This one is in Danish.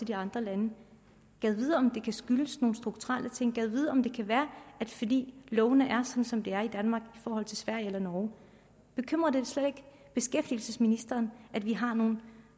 de andre lande gad vide om det kan skyldes nogle strukturelle ting gad vide om det kan være fordi lovene er som de er i danmark i forhold til sverige eller norge bekymrer det slet ikke beskæftigelsesministeren at vi har nogle